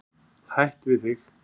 Hætt við þig.